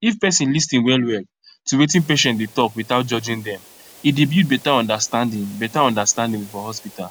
if person lis ten well well to wetin patient dey talk without judging dem e dey build better understanding better understanding for hospital